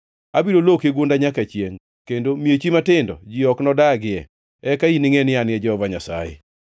Abiro loki gunda nyaka chiengʼ, kendo miechi matindo ji ok nodagie. Eka iningʼe ni An e Jehova Nyasaye.